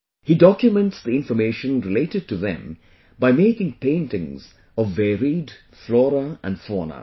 He documents the information related to them by making paintings of varied Flora and Fauna